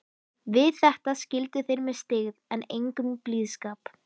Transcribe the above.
Við þetta skildu þeir með styggð en engum blíðskap.